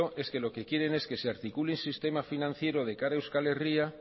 es que lo que quieren es que se articule un sistema financiero de cara a euskal herria